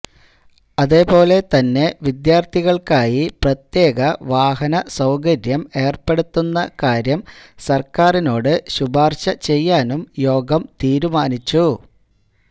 അതേപോലെ തന്നെ വിദ്യാര്ത്ഥികള്ക്കായി പ്രത്യേക വാഹന സൌകര്യം ഏര്പ്പെടുത്തുന്ന കാര്യം സര്ക്കാരിനോട് ശുപാര്ശ ചെയ്യാനും യോഗം തീരുമാനിച്ചു